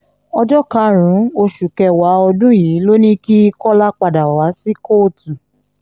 ọjọ́ karùn-ún oṣù kẹwàá ọdún yìí ló ní kí kọ́lá padà wá sí kóòtù